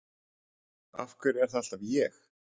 Af hverju er það alltaf ég?